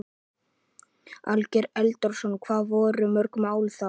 Ásgeir Erlendsson: Hvað voru mörg mál þá?